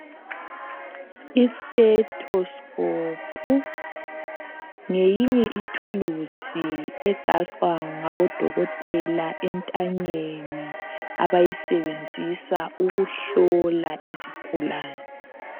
Isitetoskopo ngeyinye ithuluzi egaxwa ngabodokotela entanyeni abayisebenzisa ukuhlola izigulani.